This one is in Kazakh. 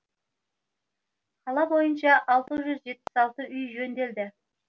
қала бойынша алты жүз жетпіс алты үй жөнделді